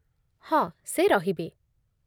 ହଁ, ସେ ରହିବେ ।